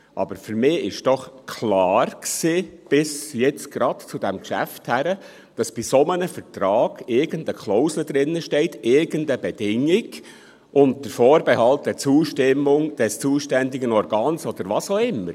Aber für mich war doch bis eben gerade klar, bis zu diesem Geschäft, dass in einem solchen Vertrag irgendeine Klausel drinsteht, irgendeine Bedingung, «unter Vorbehalt der Zustimmung des zuständigen Organs», oder was auch immer.